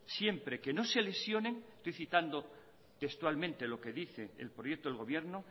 siempre que no se lesionen estoy citando textualmente lo que dice el proyecto del gobierno